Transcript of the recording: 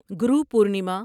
گرو Purnima